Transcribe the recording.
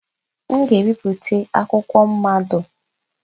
M ga-ebipụta akwụkwọ mmado.